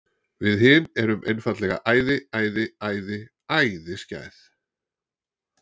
Við hin erum einfaldlega æði, æði, æði, æði skæð.